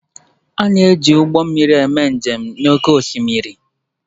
A na-eji ụgbọ mmiri eme njem n'oké osimiri